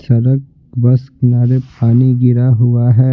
सरक बस किनारे पानी गिरा हुआ है।